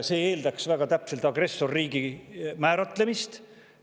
See eeldaks väga täpselt agressorriigi määratlemist.